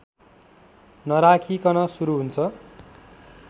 नराखीकन सुरु हुन्छ